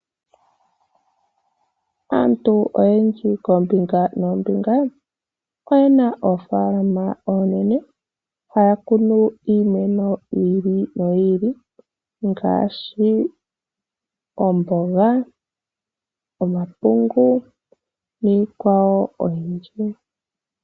Aantu oyendji koombinga noombinga oyena oofaalama oonene haya kunu iimeno yi ili noyi ili ngaashi oomboga, omapungu niikwawo oyindji.